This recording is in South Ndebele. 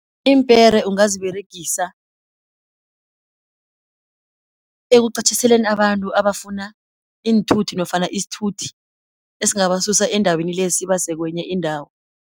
Iimpere ungaziberegisa ekuqatjhiseleni abantu abafuna iinthuthi nofana isithuthi esingabasusa endaweni le, sibase kwenye indawo.